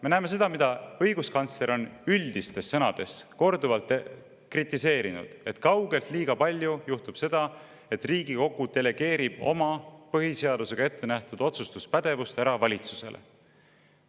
Me näeme seda, mida õiguskantsler on üldistes sõnades korduvalt kritiseerinud, et kaugelt liiga palju juhtub seda, et Riigikogu delegeerib oma põhiseadusega ettenähtud otsustuspädevuse valitsusele.